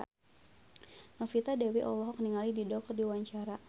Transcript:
Novita Dewi olohok ningali Dido keur diwawancara